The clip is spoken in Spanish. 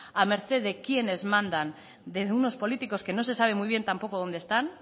a merced de quiénes mandan de unos políticos que no se sabe muy bien tampoco dónde están